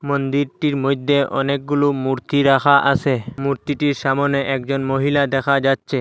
মন্দিরটির মইদ্যে অনেকগুলো মূর্তি রাখা আসে মূর্তিটির সামোনে একজন মহিলা দেখা যাচ্ছে।